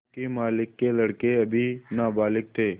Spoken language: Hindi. योंकि मालिक के लड़के अभी नाबालिग थे